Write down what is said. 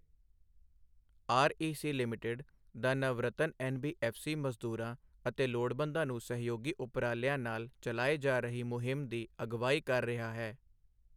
REC limited, the Navratna NBFC ਮਜ਼ਦੂਰਾਂ ਅਤੇ ਲੋੜਵੰਦਾਂ ਨੂੰ ਸਹਿਯੋਗੀ ਉਪਰਾਲਿਆਂ ਨਾਲ ਚਲਾਏ ਜਾ ਰਹੀ ਮੁਹਿੰਮ ਦੀ ਅਗਵਾਈ ਕਰ ਰਿਹਾ ਹੈ।